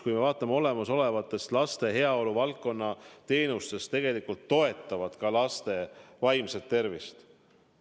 Kui me vaatame olemasolevaid laste heaolu valdkonna teenuseid, siis tegelikult enamik neist toetab laste vaimset tervist.